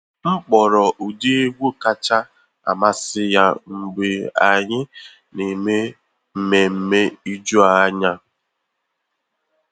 M kpọrọ ụdị egwu kacha amasị ya mgbe anyị na eme mmemme ijuanya.